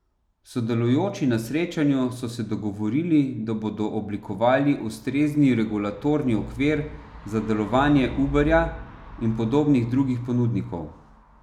Sodelujoči na srečanju so se dogovorili, da bodo oblikovali ustrezni regulatorni okvir za delovanje Uberja in podobnih drugih ponudnikov.